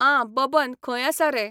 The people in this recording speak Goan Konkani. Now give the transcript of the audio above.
आं बबन खंय आसा रे